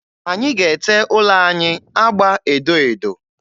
Anyị ga-ete ụlọ anyị agba edo edo.